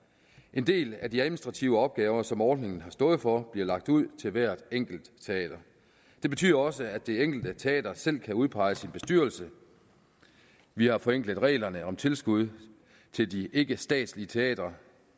en del af de administrative opgaver som ordningen har stået for bliver lagt ud til hvert enkelt teater det betyder også at det enkelte teater selv kan udpege sin bestyrelse vi har forenklet reglerne om tilskud til de ikkestatslige teatre